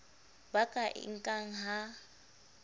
ba ka e nkang ha